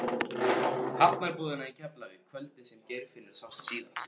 Hafnarbúðina í Keflavík kvöldið sem Geirfinnur sást síðast.